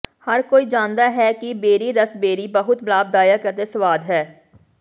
ਹਰ ਕੋਈ ਜਾਣਦਾ ਹੈ ਕਿ ਬੇਰੀ ਰਸਬੇਰੀ ਬਹੁਤ ਲਾਭਦਾਇਕ ਅਤੇ ਸਵਾਦ ਹੈ